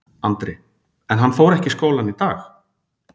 Andri: En hann fór ekki í skólann í dag?